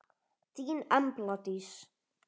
Þín Embla Dís.